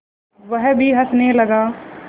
वह भी हँसने लगा